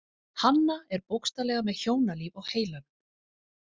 Hanna er bókstaflega með hjónalíf á heilanum.